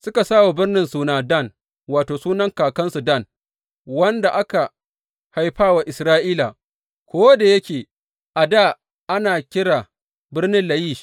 Suka sa wa birnin suna Dan, wato, sunan kakansu Dan, wanda aka haifa wa Isra’ila, ko da yake a dā ana kira birnin Layish.